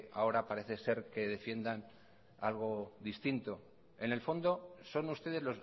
ahora parece ser que defiendan algo distinto en el fondo son ustedes